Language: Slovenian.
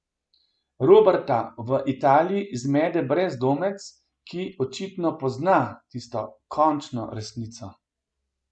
Roberta v Italiji zmede brezdomec, ki očitno pozna tisto končno resnico.